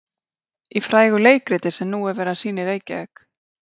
Í frægu leikriti sem nú er verið að sýna í Reykjavík.